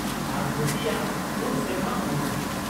-ᱟᱨ ᱠᱷᱩᱥᱤᱭᱟᱜ ᱯᱩᱱ ᱥᱮᱨᱢᱟ ᱦᱩᱭ ᱮᱱᱟ ᱾